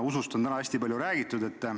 Usust on täna hästi palju räägitud.